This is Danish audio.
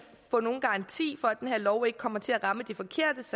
få nogen garanti for at den her lov ikke kommer til at ramme de forkerte